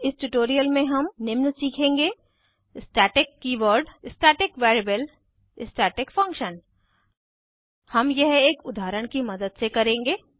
इस ट्यूटोरियल में हम निम्न सीखेंगे static keyword static variable static function हम यह एक उदाहरण की मदद से करेंगे